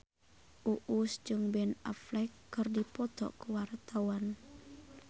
Uus jeung Ben Affleck keur dipoto ku wartawan